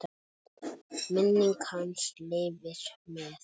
Minning hans lifir með okkur.